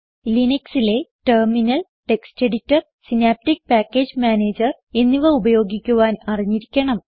linuxലെ terminal text editor Synaptic package manager എന്നിവ ഉപയോഗിക്കുവാൻ അറിഞ്ഞിരിക്കണം